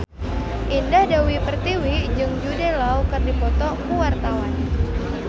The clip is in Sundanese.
Indah Dewi Pertiwi jeung Jude Law keur dipoto ku wartawan